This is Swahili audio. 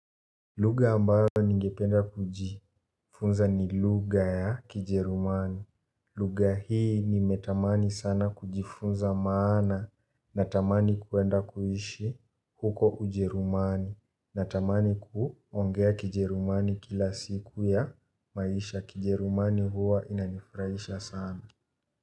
Lugha ambayo ningependa kujifunza ni lugha ya kijerumani. Lugha hii nimetamani sana kujifunza maana natamani kwenda kuishi huko ujerumani natamani kuongea kijerumani kila siku ya maisha. Kijerumani huwa inanifrahisha sana.